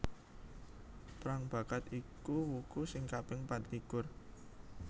Prangbakat iku wuku sing kaping patlikur